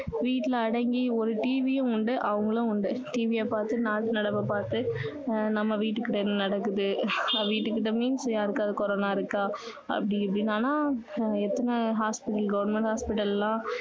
வீட்டுல அடங்கி ஒரு TV உம் உண்டு அவங்களும் உண்டு TV ய பார்த்து நாட்டு நடப்ப பார்த்து நம்ம வீட்டுக்கிட்ட என்ன நடக்குது நம்ம வீட்டு கிட்ட means யாருக்காவது கொரோனா இருக்கா அப்படி இப்படின்னு ஆனா எத்தனை hospital goverment hospital எல்லாம்